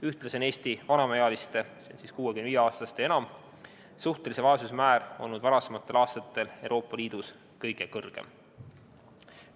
Ühtlasi on Eesti vanemaealiste suhtelise vaesuse määr olnud varasematel aastatel Euroopa Liidus kõige kõrgem.